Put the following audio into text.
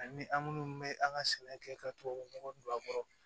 Ani an minnu bɛ an ka sɛnɛ kɛ ka tubabu nɔgɔ don a kɔrɔ